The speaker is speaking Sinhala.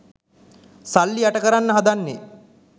සල්ලි යට කරන්න හදන්නේ